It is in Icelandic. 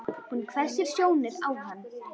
Hún hvessir sjónir á hann.